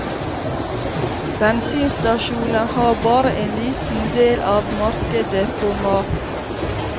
Bensinstasjoner har bare en liten del av markedet på mat.